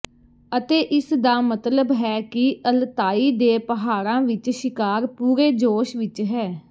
ਅਤੇ ਇਸ ਦਾ ਮਤਲਬ ਹੈ ਕਿ ਅਲਤਾਈ ਦੇ ਪਹਾੜਾਂ ਵਿਚ ਸ਼ਿਕਾਰ ਪੂਰੇ ਜੋਸ਼ ਵਿੱਚ ਹੈ